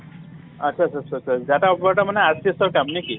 আচ্চা আচ্চা আচ্চা আচ্চা , data operator মানে RCH ৰ কাম নেকি ?